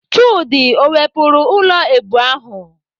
Chude o wepụrụ ụlọ èbù ahụ?